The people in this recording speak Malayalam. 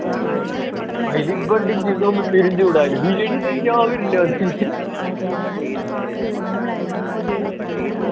ഉം എൻ്റെടുത്തു വന്നു പെരും ചൂടാകലു ബിരിയാണി ഇല്ലെങ്ങി ഞാൻ വരില്ല ന്നു